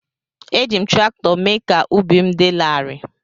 Eji m traktọ mee ka ubi m dị larịị.